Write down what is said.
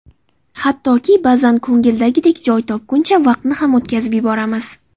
Hattoki, ba’zan ko‘ngildagidek joy topguncha vaqtni ham o‘tkazib yuboramiz.